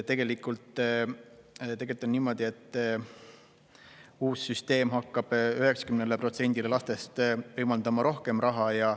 Tegelikult on niimoodi, et uus süsteem hakkab 90%-le lastest võimaldama rohkem raha.